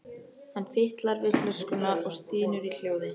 Hann fitlar við flöskuna og stynur í hljóði.